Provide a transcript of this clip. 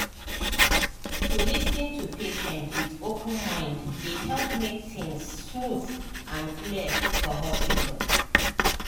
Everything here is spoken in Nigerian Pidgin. to lis ten to patient with open mind dey help make things smooth and clear for hospital.